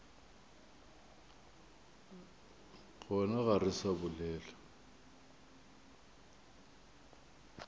gona ga re sa bolela